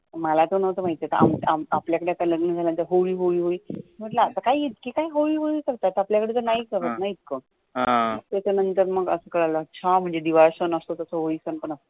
मला तर न्हवतं माहित तर आम आम आपल्या कडे लग्न झाल्या नंतर होळी होळी होळी म्हटलं काय इतकं होळी होळी करतायत आपल्या कडे तर नाही करत न इतकं त्याच्या नंतर कळल अच्छा म्हणजे दिवाळसण असतो तसं होळी सण पण असतो